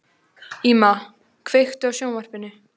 Íma, kveiktu á sjónvarpinu.